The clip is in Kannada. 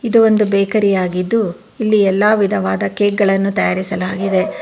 ಇದು ಒಂದು ಬೇಕರಿ ಆಗಿದ್ದು ಇಲ್ಲಿ ಎಲ್ಲಾ ವಿಧವಾಅದ ಕೇಕ್ ಗಳನು ತಯಾರಿಸಲಾಗಿದೆ.